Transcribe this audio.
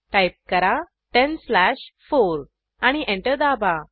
type करा 10 slash 4 आणि enter दाबा